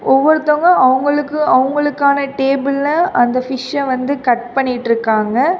ஒவ்வொருத்தங்க அவங்களுக்கு அவங்களுக்கான டேபிள்ல அந்த ஃபிஷ்ஷ வந்து கட் பண்ணிட்ருக்காங்க.